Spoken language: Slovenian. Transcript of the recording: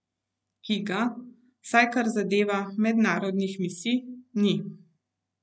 Ki ga, vsaj kar zadeva mednarodnih misij, ni.